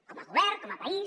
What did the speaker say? com a govern com a país